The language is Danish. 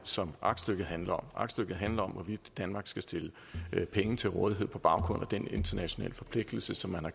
som aktstykket handler om aktstykket handler om hvorvidt danmark skal stille penge til rådighed på baggrund af den internationale forpligtelse som man har